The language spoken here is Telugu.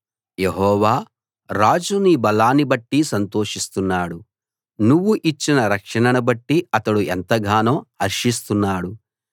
యెహోవా రాజు నీ బలాన్నిబట్టి సంతోషిస్తున్నాడు నువ్వు ఇచ్చిన రక్షణనుబట్టి అతడు ఎంతగానో హర్షిస్తున్నాడు